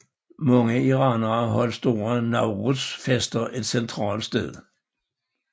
Mange iranere holder store Nowruz fester et centralt sted